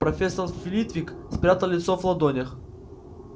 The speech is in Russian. профессор флитвик спрятал лицо в ладонях